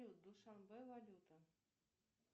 душанбе валюта